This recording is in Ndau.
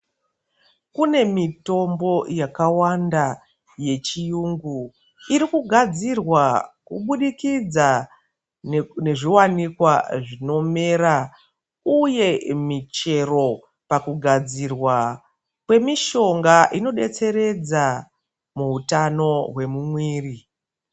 Kune mitombo yakawanda yechiyungu irikugadzirwa kubudikidza nezvivanikwa zvinomera, uye michero pakugadzirwa kwemishonga inobetseredza muhutano hwemumwiri.